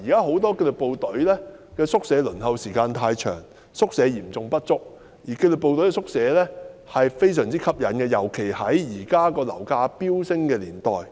很多紀律部隊目前輪候宿舍的時間太長，宿位嚴重不足，而紀律部隊的宿舍非常吸引，尤其在現時樓價飆升的年代。